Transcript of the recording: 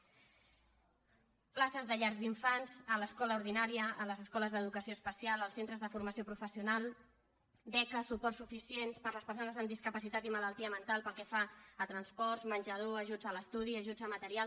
places de llars d’infants a l’escola ordinària a les escoles d’educació especial als centres de formació professional beques suports suficients per a les persones amb discapacitat i malaltia mental pel que fa a transports menjador ajuts a l’estudi ajuts a material